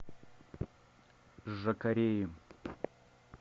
жакареи